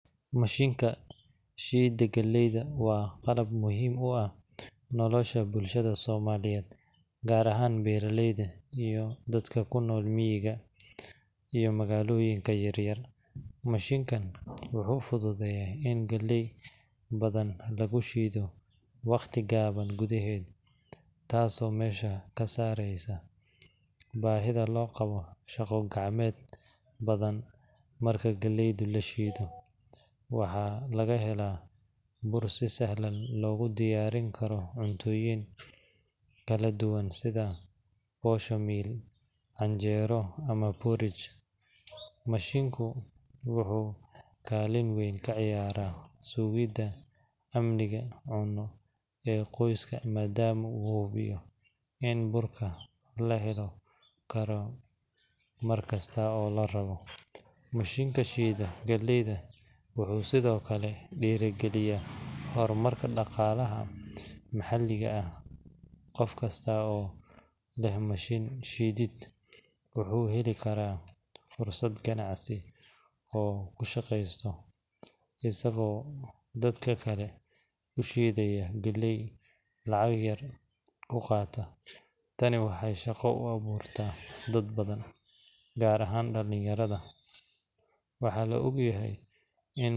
Mashiinka shiidda galleyda waa qalab muhiim u ah nolosha bulshada Soomaaliyeed, gaar ahaan beeraleyda iyo dadka ku nool miyiga iyo magaalooyinka yaryar. Mashiinkan wuxuu fududeeyaa in galley badan lagu shiido waqti gaaban gudaheed, taasoo meesha ka saaraysa baahida loo qabo shaqo gacmeed badan. Marka galleyda la shiido, waxaa laga helaa bur si sahlan loogu diyaarin karo cuntooyin kala duwan sida posho meal, canjeero, ama porridge. Mashiinku wuxuu kaalin weyn ka ciyaaraa sugidda amniga cunno ee qoysaska, maadaama uu hubiyo in burka la heli karo markasta oo la rabo. Mashiinka shiida galleyda wuxuu sidoo kale dhiirrigeliyaa horumarka dhaqaalaha maxalliga ah. Qof kasta oo leh mashiin shiidid wuxuu heli karaa fursad ganacsi oo uu ku shaqeysto, isagoo dadka kale u shiidaya galley lacag yar ku qaadaya. Tani waxay shaqo u abuurtaa dad badan, gaar ahaan dhalinyarada. Waxaa la og yahay in.